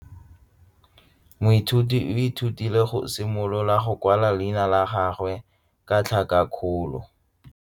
Moithuti o ithutile go simolola go kwala leina la gagwe ka tlhakakgolo.